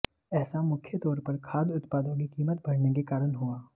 ऐसा मुख्य तौर पर खाद्य उत्पादों की कीमत बढऩे के कारण हुआ